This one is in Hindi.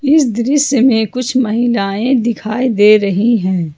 इस दृश्य में कुछ महिलाएं दिखाई दे रही हैं।